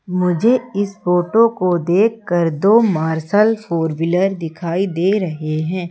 मुझे इस फोटो को देखकर दो मार्शल फोर व्हीलर दिखाई दे रहे हैं।